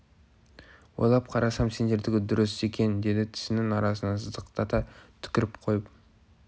ойлап қарасам сендердікі дұрыс екен деді тісінің арасынан сыздықтата түкіріп қойып